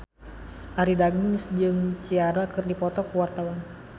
Arie Daginks jeung Ciara keur dipoto ku wartawan